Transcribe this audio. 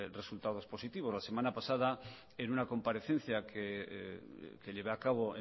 resultados positivos la semana pasada en una comparecencia que llevé a cabo